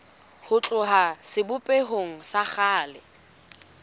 ho tloha sebopehong sa kgale